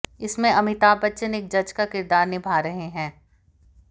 इसमें अमिताभ बच्चन एक जज का किरदार निभा रहे हैं